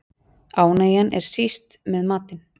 Ánægjan er síst með matinn.